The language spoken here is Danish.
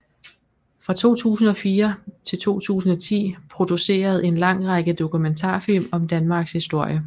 Fra 2004 til 2010 produceret en lang række dokumentarfilm om Danmarks historie